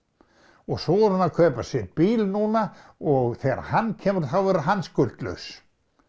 og svo er hún að kaupa sér bíl núna og þegar hann kemur þá verður hann skuldlaus